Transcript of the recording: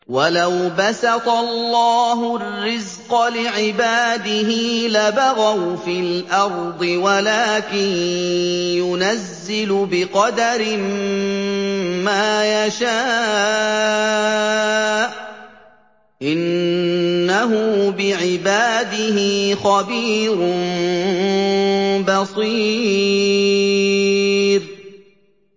۞ وَلَوْ بَسَطَ اللَّهُ الرِّزْقَ لِعِبَادِهِ لَبَغَوْا فِي الْأَرْضِ وَلَٰكِن يُنَزِّلُ بِقَدَرٍ مَّا يَشَاءُ ۚ إِنَّهُ بِعِبَادِهِ خَبِيرٌ بَصِيرٌ